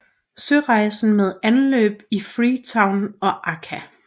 Sørejsen med anløb i Freetown og Accra